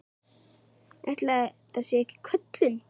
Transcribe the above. Ætli þetta sé ekki köllun?